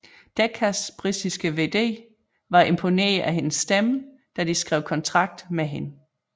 Deccas britiske VD var imponeret af hendes stemme da de skrev kontrakt med hende